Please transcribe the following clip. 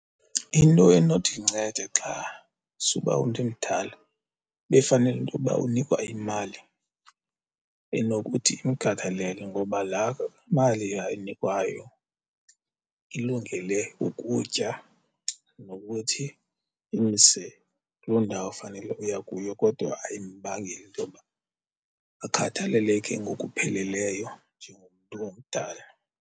Into enothi incede xa suba ndimdala befanele intoba unikwa imali enokuthi imkhathalele ngoba laa mali ayinikwayo ilungele ukutya nokuthi imse kuloo ndawo fanele uya kuyo kodwa ayimbangeli intoba akhathaleleke ngokupheleleyo njengomntu omdala.